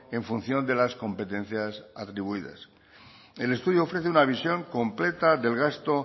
en función de las competencias atribuidas el estudio ofrece una visión completa del gasto